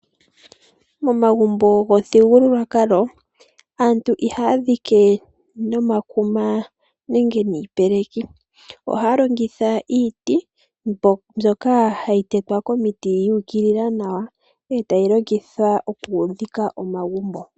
Momagumbo gomithigululwakalo aantu ihaya dhike no makuma nenge niipeleki, ohaya longitha iiti mbyoka hayi tetwa komiti yu ukilila nawa etayi longithwa okudhika omagumbo